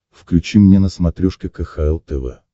включи мне на смотрешке кхл тв